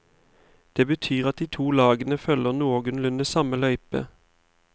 Det betyr at de to lagene følger noenlunde samme løype.